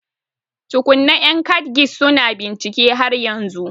Tukunna, yan KADGIS su na bincike har yanzu